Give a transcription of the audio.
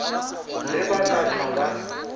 ge ba ka hlwa ba